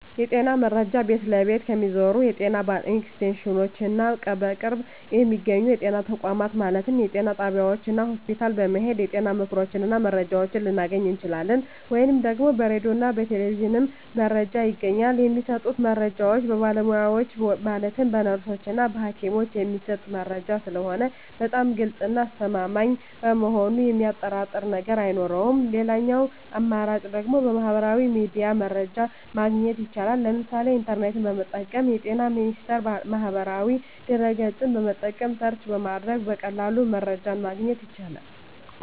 የጤና መረጃ ቤት ለቤት ከሚዞሩት የጤና ኤክስቴንሽኖች እና በቅርብ በሚገኙ የጤና ተቋማት ማለትም ጤና ጣቢያዎች እና ሆስፒታል በመሔድ የጤና ምክሮችን እና መረጃዎችን ልናገኝ እንችላለን። ወይም ደግሞ በራዲዮ እና በቴሌቪዥንም መረጃ ይገኛል። የሚሰጡት መረጃዎች በባለሙያዎች ማለትም በነርሶች እና በሀኪሞች የሚሰጥ መረጂ ስለሆነ በጣም ግልፅ እና አስተማማኝ በመሆኑ የሚያጠራጥር ነገር አይኖረውም ሌላኛው አማራጭ ደግሞ በሚህበራዊ ሚዲያ መረጃ ማግኘት ይቻላል ለምሳሌ ኢንተርኔትን በመጠቀም በጤና ሚኒስቴር ማህበራዊ ድህረ ገፅን በመጠቀም ሰርች በማድረግ በቀላሉ መረጃን ማግኘት ይቻላል።